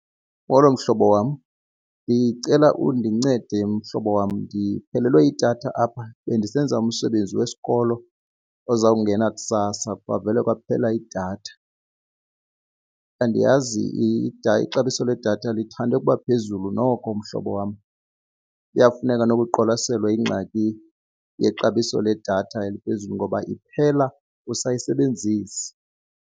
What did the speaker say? Molo, mhlobo wam. Ndicela undincede mhlobo wam, ndiphelelwe yidatha apha bendisenza umsebenzi wesikolo ozawungena kusasa kwavele kwaphela idatha. Andiyazi, ixabiso ledatha lithande ukuba phezulu noko mhlobo wam. Kuyafuneka noko iqwalaselwa ingxaki yexabiso ledatha eliphezulu ngoba iphela usayisebenzisa.